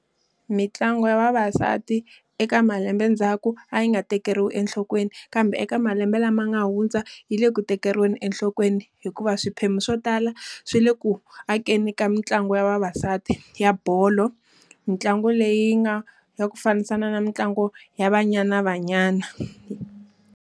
Mintlangu ya vavasati eka malembe ndzhaku a yi nga tekeriwi enhlokweni, kambe eka malembe lama nga hundza yi le ku tikeriweni enhlokweni hikuva swiphemu swo tala swi le ku akeni ka mitlangu ya vavasati ya bolo. Mintlangu leyi yi nga ya ku fambisana na mitlangu ya Banyana Banyana.